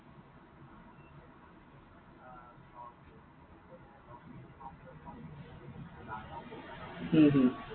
হম হম